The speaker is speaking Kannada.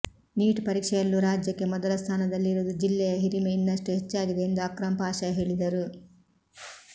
ನೀಟ್ ಪರೀಕ್ಷೆಯಲ್ಲೂ ರಾಜ್ಯಕ್ಕೆ ಮೊದಲ ಸ್ಥಾನದಲ್ಲಿರುವುದು ಜಿಲ್ಲೆಯ ಹಿರಿಮೆ ಇನ್ನಷ್ಟು ಹೆಚ್ಚಾಗಿದೆ ಎಂದು ಅಕ್ರಂ ಪಾಷ ಹೇಳಿದರು